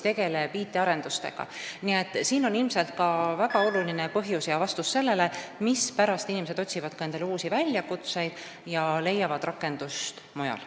Nii et see on ilmselt väga oluline põhjus ja vastus sellele, mispärast inimesed otsivad ka uusi väljakutseid ja leiavad rakendust mujal.